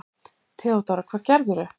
THEODÓRA: Hvað gerðirðu?